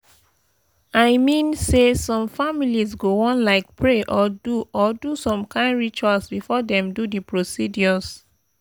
i mean say some families go wan like pray or do or do some kain rituals before dem do the procedures.